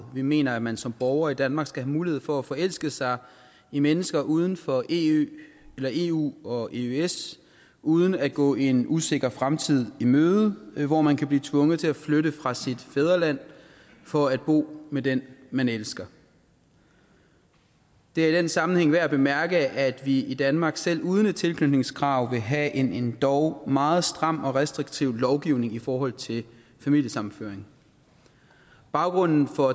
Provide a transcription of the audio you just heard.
vi mener at man som borger i danmark skal have mulighed for at forelske sig i mennesker uden for eu og eøs uden at gå en usikker fremtid i møde hvor man kan blive tvunget til at flytte fra sit fædreland for at bo med den man elsker det er i den sammenhæng værd at bemærke at vi i danmark selv uden et tilknytningskrav vil have en endog meget stram og restriktiv lovgivning i forhold til familiesammenføring baggrunden for